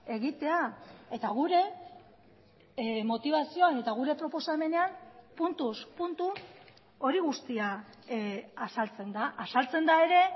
egitea eta gure motibazioan eta gure proposamenean puntuz puntu hori guztia azaltzen da azaltzen da ere